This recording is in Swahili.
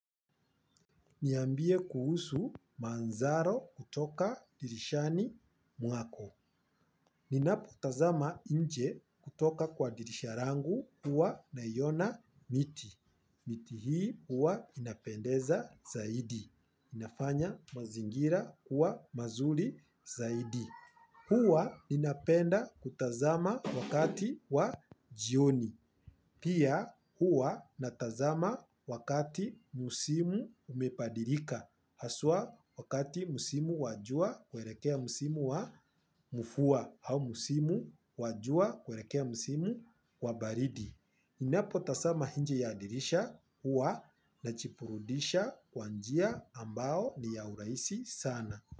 Niambie kuhusu manthari kutoka dirishani mwako. Ninapotazama nje kutoka kwa dirisha rangu huwa naiona miti. Miti hii huwa inapendeza zaidi. Inafanya mazingira kuwa mazuri zaidi. Huwa ninapenda kutazama wakati wa jioni. Pia huwa natazama wakati msimu umepadirika. Haswa wakati msimu wa jua kuerekea msimu wa mvua au msimu wa jua kuerekea msimu wa baridi ninapotasama inje ya dirisha huwa nachipurudisha kwa njia ambao ni ya urahisi sana.